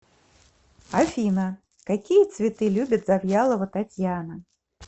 афина какие цветы любит завьялова татьяна